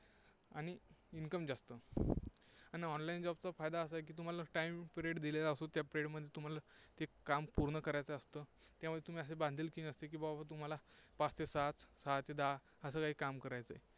आणि income जास्त आणि online job चा फायदा असा आहे की तुम्हाला time period दिलेला असतो, त्या period मध्ये तुम्हाला ते काम पूर्ण करायचं असतं. त्यामुळे तुम्ही असे बांधिलकी नसते की बाबा तुम्हाला पाच ते सहा, सहा ते दहा असे काही काम करायचे आहे.